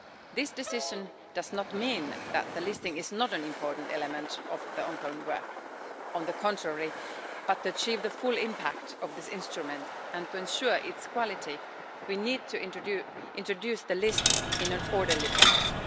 This decision does not mean that the listing is not an important element of the ongoing work on the contrary but in order to achieve the full impact of this instrument and to ensure its quality, we need to introduce the list in an orderly process.